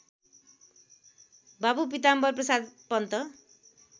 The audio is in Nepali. बाबु पिताम्बरप्रसाद पन्त